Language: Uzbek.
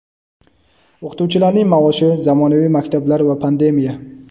O‘qituvchilarning maoshi, zamonaviy maktablar va pandemiya.